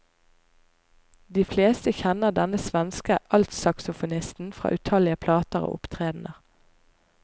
De fleste kjenner denne svenske altsaksofonisten fra utallige plater og opptredener.